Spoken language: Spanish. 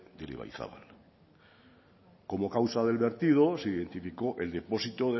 del ibaizabal como causa del vertido se identificó el depósito